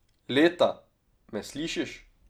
Leta, me slišiš?